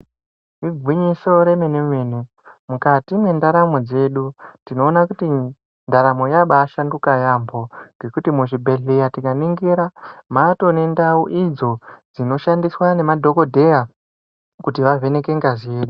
Igwinyiso remene-mene, mukati mwendaramo dzedu tinoona kuti ndaramo yabaashanduka yaamho, ngekuti muzvibhedhlera tikaningira matoonendau idzo dzinoshandiswa ngemadhogodheya kuti vavheneke ngazi yedu.